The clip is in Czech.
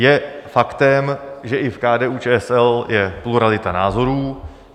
Je faktem, že i v KDU-ČSL je pluralita názorů.